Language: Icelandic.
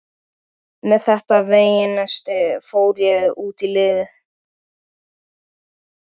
Með þetta veganesti fór ég út í lífið.